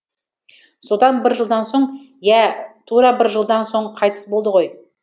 содан бір жылдан соң иә тура бір жылдан соң қайтыс болды ғой